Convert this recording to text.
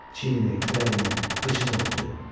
Çiynini, kürəyini, qıçını örtdü.